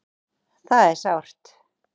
Það er sárt